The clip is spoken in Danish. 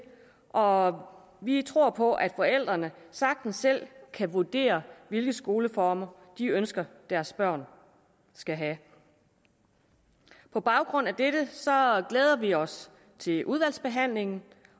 og vi tror på at forældrene sagtens selv kan vurdere hvilke skoleformer de ønsker deres børn skal have på baggrund af dette glæder vi os til udvalgsbehandlingen